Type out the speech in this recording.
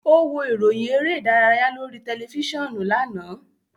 Ó wo ìròyìn eré-ìdárayá lórí tẹlifíṣàn lánàá.